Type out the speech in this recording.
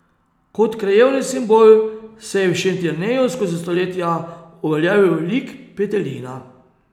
Kot krajevni simbol se je v Šentjerneju skozi stoletja uveljavil lik petelina.